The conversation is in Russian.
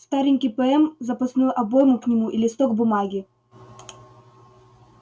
старенький пм запасную обойму к нему и листок бумаги